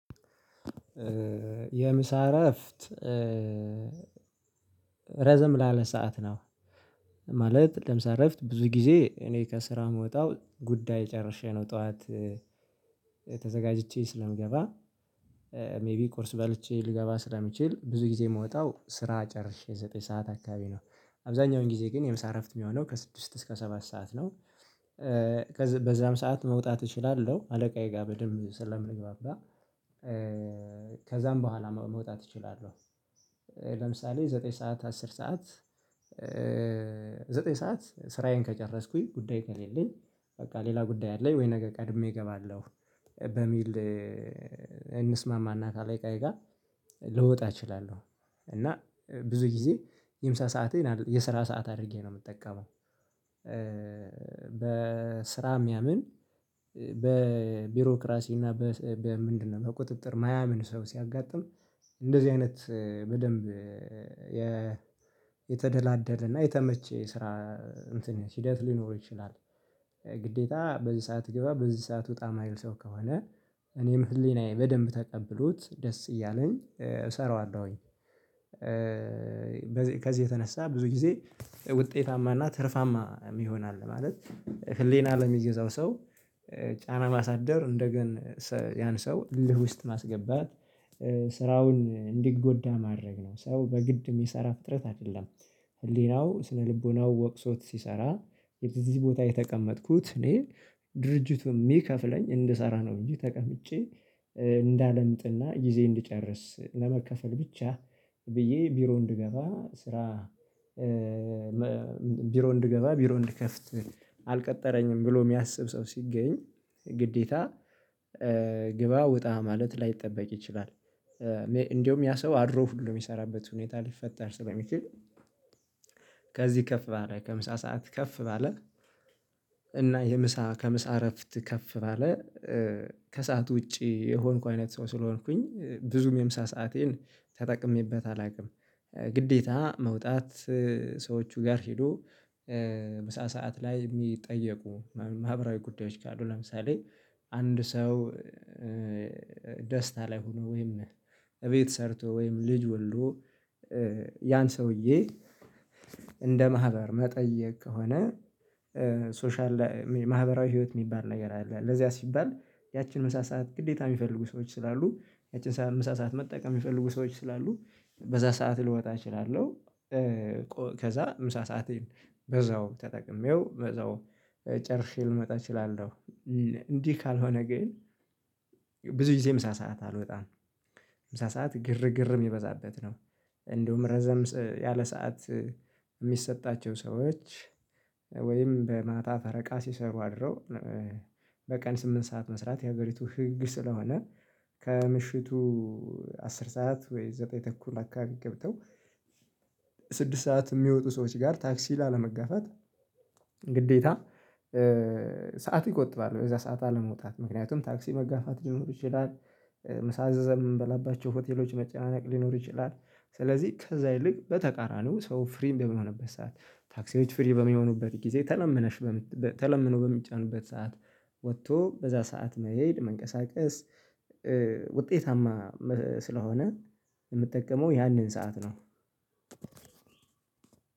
የምሳ እረፍት ረዘም ላለ ሰዓት ነው። ማለት ለምሳሌ እረፍት ብዙ ጊዜ እኔ ከስራ የምወጣው ጉዳይ ጨርሼ ነው ጠዋት። ተዘጋጅቼ ስለምገባ ሜይቢ ቁርስ በልቼ ልገባ ስለምችል ብዙ ጊዜ የምወጣው ስራ ጨርሼ ዘጠኝ ሰዓት አካባቢ ነው አብዛኛውን ጊዜ ግን የምሳ እረፍት የሚሆነው ከስድስት እስከ ሰባት ሰዓት ነው። ከዛ በዛም ሰዓት መውጣት እችላለሁ አለቃዬ ጋር በደንብ ስለምንግባባ ከዛም በኋላ መውጣት እችላለሁ። ለምሳሌ ዘጠኝ ሰዓት አስር ሰዓት። ዘጠኝ ሰዓት ስራዬን ከጨረስኩኝ ጉዳይ ከሌለኝ በቃ ሌላ ጉዳይ አለኝ ወይ ነገ ቀድሜ እገባለሁ። በሚል እንስማማና ከአለቃዬ ጋር ልወጣ እችላለሁ። እና ብዙ ጊዜ የምሳ ሰአቴን የስራ ሰዓት አድርጌ ነው የምጠቀመው። በስራ የሚያምን በቢሮክራሲ እና በምንድነው በቁጥጥር የማያምን ሰው ሲያጋጥም እንደዚህ አይነት በደንብ የተደላደለና የተመቸ ስራ እንትን ሂደት ሊኖር ይችላል። ግዴታ በዚህ ሰዓት ግባ በዚህ ሰዓት ውጣ የማይል ሰው ከሆነ እኔም ህሊናዬ በደንብ ተቀብሎት ደስ እያለኝ እሰራዋለሁኝ። ከዚህ የተነሳ ብዙ ጊዜ ውጤታማና ትርፋማ ይሆናል። ማለት ህሊና ለሚገዛው ሰው ጫና ማሳደር እንደገና ያን ሰው እልህ ውስጥ ማስገባት ስራውን እንዲጎዳ ማድረግ ነው ሰው በግድም የሚሰራ ፍጥረት አይደለም። ህሊናው ስነልቦናው ወቅሶት ሲሰራ የት እዚህ ቦታ የተቀመጥኩት እኔ ድርጅቱ የሚከፍለኝ እንድሰራ ነው። እንጂ ተቀምጬ እንዳለምጥና ጊዜ እንድጨርስ ለመከፈል ብቻ ብዬ ቢሮ እንድገባ ስራ ቢሮ እንድገባ ቢሮ እንድከፍት አልቀጠረኝም ብሎ የሚያስብ ሰው ሲገኝ ግዴታ ግባ ውጣ ማለት ላይጠበቅ ይችላል። እንደውም ያ ሰው አድሮ ሁሉ የሚሰራበት ሁኔታ ሊፈጠር ስለሚችል። ከዚህ ከፍ ባለ ከምሳ ሰዓት ከፍ ባለ እና የምሳ ከምሳ እረፍት ከፍ ባለ ከሰአት ውጪ የሆንኩ አይነት ሰው ስለሆንኩኝ ብዙም የምሳ ሰአቴን ተጠቅሜበት አላውቅም። ግዴታ መውጣት ሰዎቹ ጋር ሄዶ ምሳ ሰዓት ላይ የሚጠየቁ ማህበራዊ ጉዳዮች ካሉ ለምሳሌ። አንድ ሰው ደስታ ላይ ሆኖ ወይም እቤት ሰርቶ ወይም ልጅ ሁሉ ያን ሰውዬ እንደ ማህበር መጠየቅ ከሆነ ሶሻል ማህበራዊ ህይወት የሚባል ነገር አለ። ለዚያ ሲባል ያችን ምሳ ሰዓት ግዴታ የሚፈልጉ ሰዎች ስላሉ ያችን ምሳ ሰዓት መጠቀም የሚፈልጉ ሰዎች ስላሉ በዛ ሰዓት ልወጣ እችላለሁ። ከዛ ምሳ ሰዓትን በዛው ተጠቅሜው በዛው ጨርሼ ልመጣ እችላለሁ። እንዲህ ካልሆነ ግን ብዙ ጊዜ ምሳ ሰዓት አልወጣም። ምሳ ሰዓት ግርግር የሚበዛበት ነው። እንደውም ረዘም ያለ ሰዓት የሚሰጣቸው ሰዎች ወይም በማታ ፈረቃ ሲሰሩ አድረው በቀን ስምንት ሰዓት መስራት የሀገሪቱ ህግ ስለሆነ። ከምሽቱ አስር ሰዓት ወይ ዘጠኝ ተኩል አካባቢ ገብተው ስድስት ሰዓት የሚወጡ ሰዎች ጋር ታክሲ ላለመጋፋት ግዴታ ሰዓት ይቆጥባል በዛ ሰዓት አለመውጣት ምክንያቱም ታክሲ መጋፋት ሊኖሩ ይችላል። ምሳ አዘዘም የምንበላባቸው ሆቴሎች መጨናነቅ ሊኖር ይችላል። ስለዚህ ከዛ ይልቅ በተቃራኒው ሰው ፍሪ በሚሆንበት ሰዓት ታክሲዎች ፍሪ በሚሆኑበት ጊዜ ተለምነሽ ተለምነው በሚጫኑበት ሰዓት ወጥቶ በዛ ሰዓት መሄድ መንቀሳቀስ ውጤታማ ስለሆነ የምትጠቀመው ያንን ሰዓት ነው።